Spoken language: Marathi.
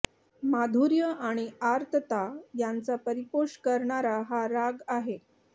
माधुर्य आणि आर्तता यांचा परिपोष करणारा हा राग आहे